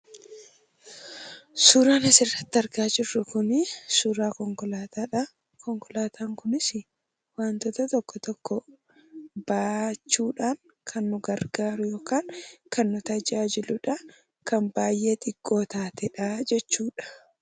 Suuraan asirratti argaa jirru kun suuraa konkolaataadha. Konkolaataan kunisi waantoota gara garaa baachuudhaaf kan nu gargaaru yookaan nu tajaajiludha. kan baay'ee xiqqoo taatedha jechuudha.